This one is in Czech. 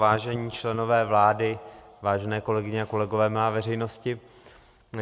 Vážení členové vlády, vážené kolegyně a kolegové, milá veřejnosti.